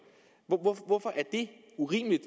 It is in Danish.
hvorfor er det urimeligt